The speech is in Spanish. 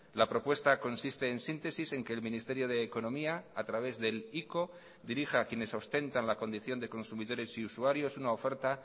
la propuesta consiste en síntesis en que el ministerio de economía a través del ico dirija a quienes ostentan la condición de consumidores y usuarios una oferta